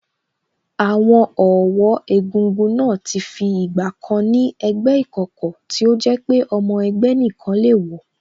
Àwọn ọ̀wọ́ egúngún náà ti fi ìgbà kan ni ẹgbẹ́ ìkọ̀kọ̀ tí ó jẹ́ pé ọmọ ẹgbẹ́ nìkan le wọ̀